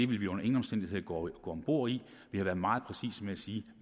vil vi under ingen omstændigheder gå om bord i vi har været meget præcise med at sige